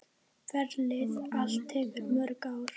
Ferlið allt tekur mörg ár.